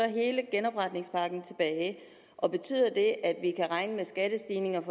hele genopretningspakken tilbage og betyder det at vi kan regne med skattestigninger for